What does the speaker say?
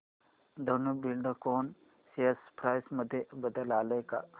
Dhenu Buildcon share price मध्ये बदल आलाय का